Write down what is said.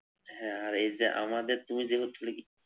হ্যাঁ আর এইযে আমাদের তুমি,